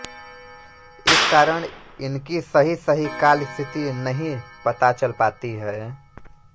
इस कारण इनकी सहीसही कालस्थिति नहीं पता चल पाती है